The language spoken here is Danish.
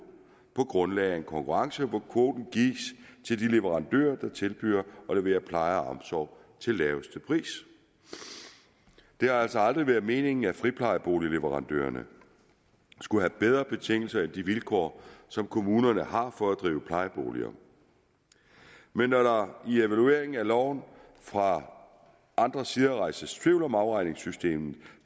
på grundlag af en konkurrence hvor kvoten gives til de leverandører der tilbyder at levere pleje og omsorg til laveste pris det har altså aldrig været meningen at friplejeboligleverandørerne skulle have bedre betingelser end de vilkår som kommunerne har for at drive plejeboliger men når der i evalueringen af loven fra andre sider rejses tvivl om afregningssystemet